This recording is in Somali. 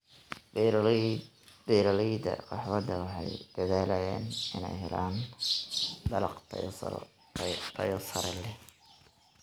Beeraleyda kahwada waxay dadaalayaan inay helaan dalag tayo sare leh.